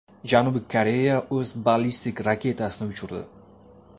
Janubiy Koreya o‘z ballistik raketasini uchirdi.